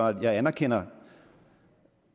at jeg anerkender